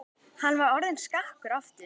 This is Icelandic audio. Hann var orðinn skakkur aftur.